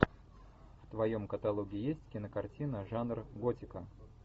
в твоем каталоге есть кинокартина жанр готика